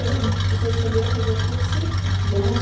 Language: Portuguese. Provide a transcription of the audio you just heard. E você escolheu fazer o curso?